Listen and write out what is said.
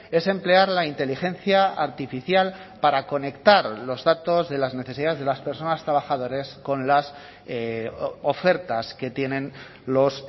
es emplear la inteligencia artificial para conectar los datos de las necesidades de las personas trabajadores con las ofertas que tienen los